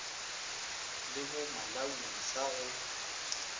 le bo malawi sa go